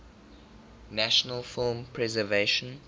national film preservation